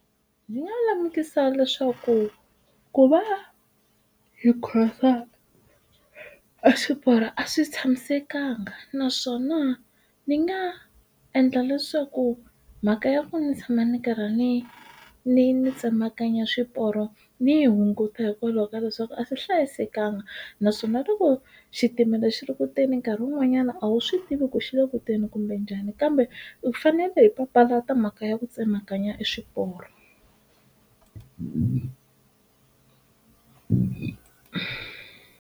Ndzi nga lemukisa leswaku ku va hi khomisa a xiporo a swi tshamisekanga naswona ni nga endla leswaku mhaka ya ku ndzi tshama ndzi karhi ndzi ndzi tsemakanya xiporo ndzi yi hunguta hikwalaho ka leswaku a swi hlayisekanga naswona loko xitimela xi ri kutani nkarhi wun'wanyana a wu swi swi tivi ku xilo kutani kumbe njhani kambe hi fanele hi papalata mhaka ya ku tsemakanya xiporo.